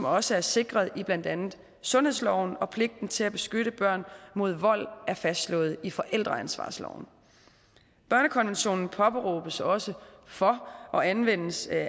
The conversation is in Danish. også er sikret i blandt andet sundhedsloven og pligten til at beskytte børn mod vold er fastslået i forældreansvarsloven børnekonventionen påberåbes også for og anvendes af